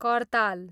कर्ताल